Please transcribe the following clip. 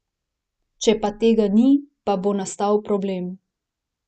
Če pa tega ni, pa bo nastal problem.